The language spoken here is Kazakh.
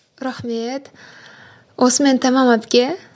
рахмет осымен тәмам әпке